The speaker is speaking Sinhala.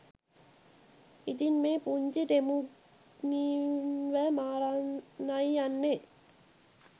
ඉතින් මේ පුන්චි ටෙමුග්ඩීන්ව මරන්නයි යන්නෙ